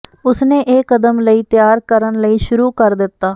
ਉਸ ਨੇ ਇਹ ਕਦਮ ਲਈ ਤਿਆਰ ਕਰਨ ਲਈ ਸ਼ੁਰੂ ਕਰ ਦਿੱਤਾ